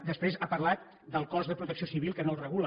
després ha parlat del cos de protecció civil que no el regula